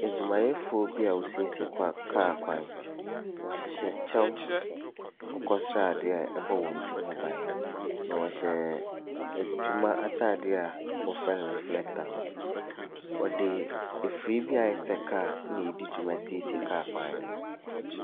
Adwumayɛfoɔ bi a wɔresiesie kwa kaa kwan, wɔhyehyɛ kyɛw akokɔsradeɛ a ɛbɔ wɔn ti ho ban, na wɔhyɛ adwuma ataadeɛ a wɔfrɛ no reflector no, wɔde afiri bi ayɛ sɛ kaa na ɛredi dwuma siesie kwan no.